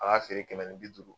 A b'a feere kɛmɛ ni bi duuru